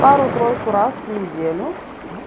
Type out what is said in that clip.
пару-тройку раз в неделю